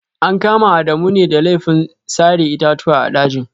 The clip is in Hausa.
An kama Adamu ne da laifin sare itatuwa a dajin